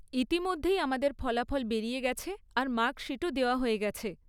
ইতিমধ্যেই আমাদের ফলাফল বেরিয়ে গেছে আর মার্কশিটও দেওয়া হয়ে গেছে।